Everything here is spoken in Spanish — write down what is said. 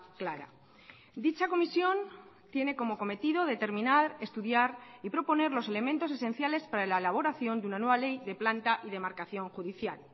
clara dicha comisión tiene como cometido determinar estudiar y proponer los elementos esenciales para la elaboración de una nueva ley de planta y demarcación judicial